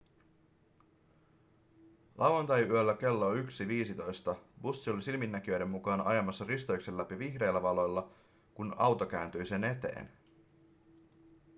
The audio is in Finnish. lauantaiyöllä kello 1.15 bussi oli silminnäkijöiden mukaan ajamassa risteyksen läpi vihreillä valoilla kun auto kääntyi sen eteen